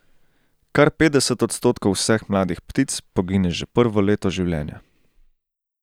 Kar petdeset odstotkov vseh mladih ptic pogine že prvo leto življenja.